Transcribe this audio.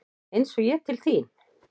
Eins og ég til þín?